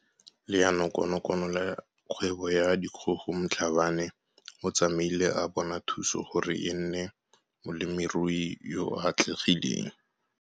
Leanokonokono la Kgwebo ya Dikgogo Mhlabane o tsamaile a bona thuso gore e nne molemirui yo o atlegileng.